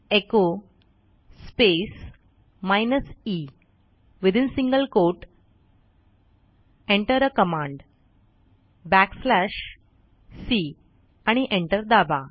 echo space hyphen e within single quote Enter आ command back slash c आणि enter दाबा